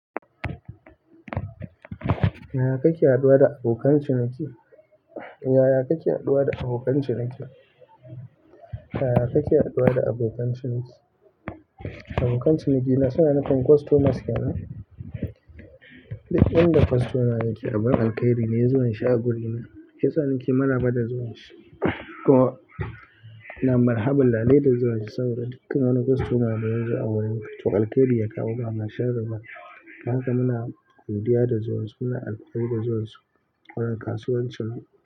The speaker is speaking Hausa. Yaya kake haɗuwa da abokan ciniki? Yaya kake haɗuwa da abokan ciniki? Yaya kake haɗuwa da abokan ciniki? Abokan cinikina suna nufin customers ke nan? Duk in da customer yake abun al kai ri ne ya zuwan shi a guri na. Shiyasa nake maraba da zuwan shi. Kuma ina marhabun lailai da zuwan shi saboda dukkan wani customer da yazo a wurin to alkairi ya kawo ba sharri ba. Don haka muna godiya da zuwan su, muna alfahari da zuwan su a wurin kasuwancin mu.